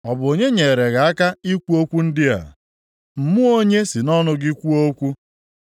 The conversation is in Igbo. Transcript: Ọ bụ onye nyeere gị aka ikwu okwu ndị a? Mmụọ onye si nʼọnụ gị kwuo okwu?